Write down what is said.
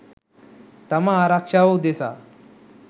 තම ආරක්ෂාව උදෙසා.